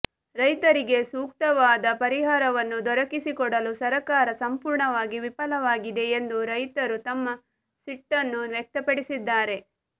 ರೈತರಿಗೆ ಸೂಕ್ತವಾದ ಪರಿಹಾರವನ್ನೂ ದೊರಕಿಸಿಕೊಡಲು ಸರಕಾರ ಸಂಪೂರ್ಣವಾಗಿ ವಿಫಲವಾಗಿದೆ ಎಂದು ರೈತರು ತಮ್ಮ ಸಿಟ್ಟನ್ನು ವ್ಯಕ್ತಪಡಿಸಿದ್ದಾರೆ